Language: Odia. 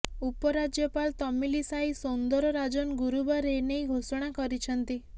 ଉପରାଜ୍ୟପାଳ ତମିଲିସାଇ ସୌନ୍ଦରରାଜନ ଗୁରୁବାର ଏ ନେଇ ଘୋଷଣା କରିଛନ୍ତି